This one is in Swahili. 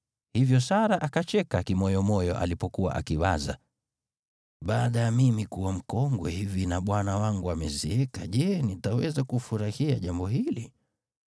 Hivyo Sara akacheka kimoyomoyo alipokuwa akiwaza, “Baada ya mimi kuwa mkongwe hivi na bwana wangu amezeeka, je, nitaweza kufurahia jambo hili?”